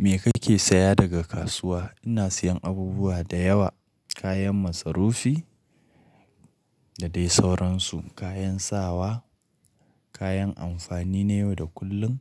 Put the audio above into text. Me ka ke saya daga kasuwa? Ina siyan abubuwa da yawa, kayan masarufi, da dai sauransu, kayan sawa, kayan amfani na yau da kullum.